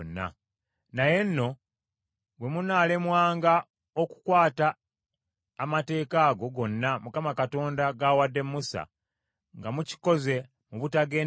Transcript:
“Naye nno bwe munaalemwanga okukwata amateeka ago gonna Mukama Katonda g’awadde Musa, nga mukikoze mu butagenderera,